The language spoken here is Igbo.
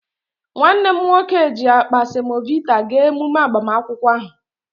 Nwanne m nwoke ji akpa semovita gaa emume agbamakwụkwọ ahụ